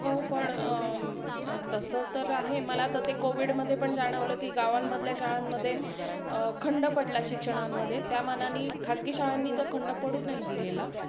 हो पण तसं तर आहे. मला आता ते कोव्हीड मध्ये पण जाणवलं की गावांमधल्या शाळांमध्ये खंड पडला शिक्षणामध्ये त्यामानाने खाजगी शाळांनी तो खंड नाही पडू नाही दिलेला.